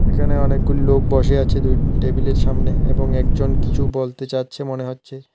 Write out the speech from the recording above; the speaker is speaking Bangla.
এখানে অনেকগুলি লোক বসে আছে দুইটি টেবিলের এর সামনে এবং একজন কিছু বলতে চাচ্ছে মনে হচ্ছে।